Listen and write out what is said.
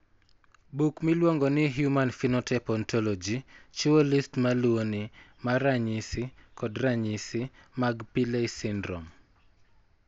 Buk miluongo ni Human Phenotype Ontology chiwo list ma luwoni mar ranyisi kod ranyisi mag Pillay syndrome.